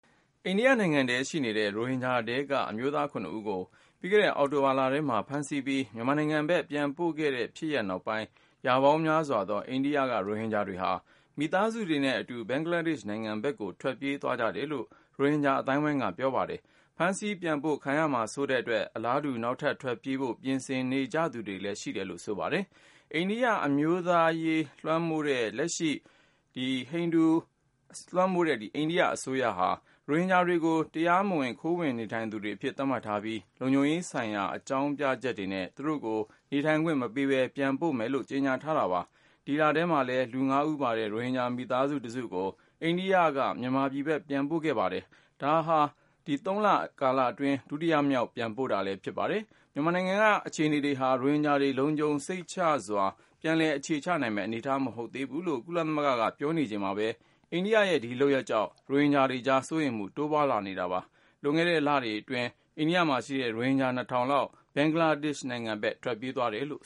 အိန္ဒိယနိုင်ငံထဲရှိနေတဲ့ ရိုဟင်ဂျာထဲက အမျိုးသား ၇ ဦးကို ပြီးခဲ့တဲ့ အောက်တိုဘာလထဲမှာ ဖမ်းဆီးပြီး မြန်မာနိုင်ငံဘက် ပြန်ပို့ခဲ့တဲ့ဖြစ်ရပ် နောက်ပိုင်း ၊ ရာပေါင်းများစွာသော အိန္ဒိယက ရိုဟင်ဂျာတွေဟာ မိသားစုတွေနဲ့အတူ ဘင်္ဂလားဒေ့ရှ်နိုင်ငံဘက်ကို ထွက်ပြေး သွားကြတယ်လို့ ရိုဟင်ဂျာ အသိုင်းအဝိုင်းက ပြောပါတယ်။ ဖမ်းဆီးပြန်ပို့ ခံရမှာစိုးတဲ့အတွက် အလားတူ နောက်ထပ်ထွက်ပြေးဖို့ ပြင်ဆင်နေသူတွေလည်း ရှိတယ်လို့ ဆိုပါတယ်။ ဟိန္ဒူအမျိုးသားရေးလွှမ်းမိုးတဲ့ လက်ရှိ အိန္ဒိယအစိုးရဟာ ရိုဟင်ဂျာတွေကို တရားမဝင် ခိုးဝင်နေထိုင်သူတွေအဖြစ် သတ်မှတ်ထားပြီး လုံခြုံရေးဆိုင်ရာ အကြောင်းပြချက်နဲ့ သူတို့ကို နေထိုင်ခွင့်မပေးပဲ ပြန်ပို့မယ်လို့ ကြေညာထားပါတယ်။ ဒီ ဇန်နဝါရီလထဲမှာလည်း လူ ၅ဦးပါတဲ့ ရိုဟင်ဂျာမိသားစု တစုကို အိန္ဒိယက မြန်မာပြည်ဘက် ပြန်ပို့ခဲ့တာပါ။ ဒါဟာ ၃ လတာ ကာလအတွင်း ဒုတိယအသုတ် ပြန်ပို့တာဖြစ်ပါတယ်။ မြန်မာနိုင်ငံက အခြေအနေတွေဟာ ရိုဟင်ဂျာတွေ လုံခြုံစိတ်ချစွာ ပြန်လည် အခြေချနိုင်မယ့် အနေထား မဟုတ်သေးဘူးလို့ ကုလသမဂ္ဂကပြောနေချိန်မှာပဲ အိန္ဒိယရဲ့ ဒီလုပ်ရပ်တွေကြောင့် ရိုဟင်ဂျာတွေကြား စိုးရိမ်မှု တိုးလာနေတာ ဖြစ်ပါတယ်။ လွန်ခဲ့တဲ့လတွေအတွင်း အိန္ဒိယမှာရှိတဲ့ ရိုဟင်ဂျာ ၂၀၀၀ လောက် ဘင်္ဂလားဒေ့ရှ်ဘက် ထွက်ပြေးသွားကြတယ်လို့